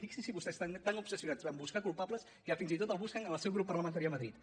fixinse vostès estan tan obsessionats a buscar culpables que fins i tot el busquen en el seu grup parlamentari a madrid